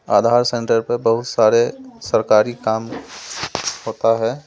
आधार centre पर बहुत सारे सरकारी काम होता है।